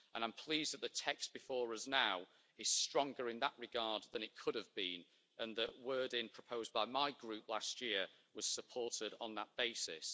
I'm pleased that the text before us now is stronger in that regard than it could have been and that wording proposed by my Group last year was supported on that basis.